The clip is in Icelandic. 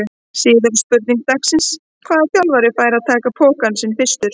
Síðari spurning dagsins: Hvaða þjálfari fær að taka pokann sinn fyrstur?